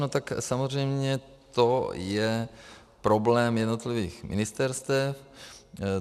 No tak samozřejmě to je problém jednotlivých ministerstev.